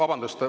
Vabandust!